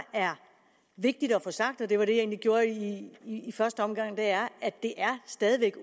er vigtigt at få sagt og det var det jeg egentlig gjorde i i første omgang er at det stadig væk